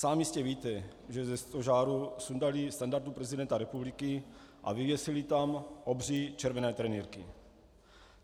Sám jistě víte, že ze stožáru sundali standartu prezidenta republika a vyvěsili tam obří červené trenýrky.